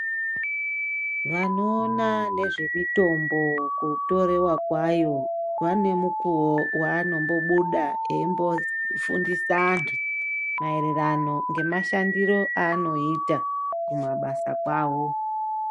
Vanoona nezve mitombo kutoriwa kwayo vane mukuwo wanombobuda eimbofundisa antu mairirano ngemashandiro evanoita kubasa kwavo.